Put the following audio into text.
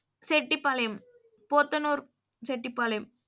Chettipalayam Podanur Chettipalayam.